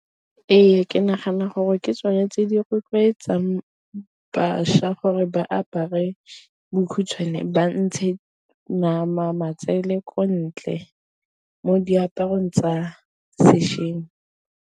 Ee ke nagana gore ke tsone tse di rotloetsang bašwa gore ba apare bokhutshwane, ba ntshe nama, matsele ko ntle mo diaparong tsa sešweng.